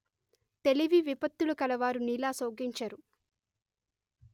తెలివి విపత్తులు కలవారు నీలా శోకించరు